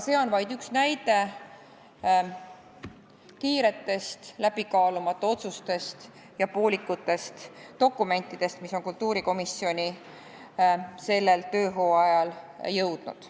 See on vaid üks näide kiiretest läbikaalumata otsustest ja poolikutest dokumentidest, mis on kultuurikomisjoni sellel hooajal jõudnud.